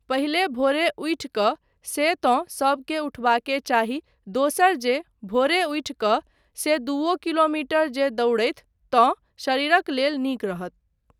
पहिले भोरे उठि कऽ से तँ सबकेँ उठबाके चाही दोसर जे भोरे उठि कऽ से दूओ किलोमीटर जे दौड़थि तँ शरीरक लेल नीक रहत।